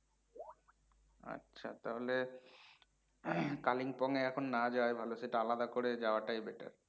আচ্ছা, তাহলে কালিংপং এ এখন না যাওয়ায় ভালো, সেটা আলাদা করে যাওয়াটাই better